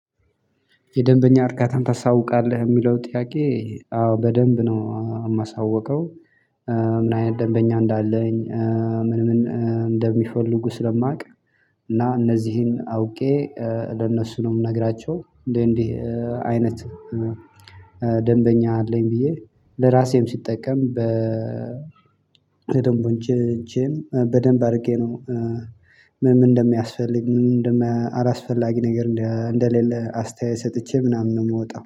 የደንበኛ እርካታን ታሳውቃለህ ሚለው ጥያቄ አዎ በደንብ ነው ማሳውቀው። ምን አይነት ደንበኛ እንዳለኝ ምን ምን እንደሚፈልጉ ስለማውቅ። እና እነዚህን አውቄ ለእነሱ ነው ምነግራቸው እንዴህ እንዴህ አይነት። ደንበኛ አለኝ ብዬ ለራሴም ስጠቀም በ ደንበኞቼን በደንብ አድርጌ ነው። ምን እንደሚያስፈልግ ምን እንደማያ አላስፈላጊ ነገር እንደሌለ አስተያየት ሰጥቼ ምናምን ነው ምወጣው